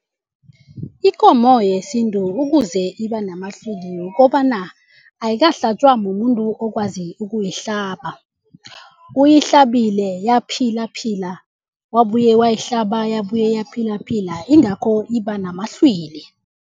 Ikomo yesintu ukuze ibanamahlwili kukobana ayikahlatjwa mumuntu okwazi ukuyihlaba. Uyihlabile yaphilaphila wabuye wayihlaba yabuye yaphilaphila, ingakho ibanamahlwili.